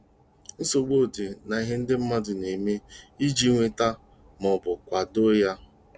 Nsogbu dị n'ihe ndị mmadụ na-eme iji nweta - ma ọ bụ kwado - ya